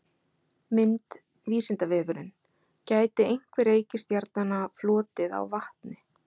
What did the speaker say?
Mynd Vísindavefurinn- Gæti einhver reikistjarnanna flotið á vatni?.